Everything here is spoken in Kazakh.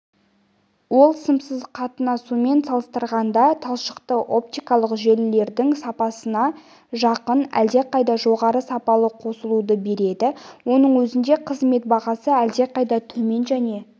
ол сымсыз қатынаумен салыстырғанда талшықтық-оптикалық желілердің сапасына жақын әлде қайда жоғары сапалы қосылуды береді соның өзінде қызмет бағасы әлде қайда төмен және